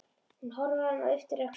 Hún horfir á hann og ypptir öxlum.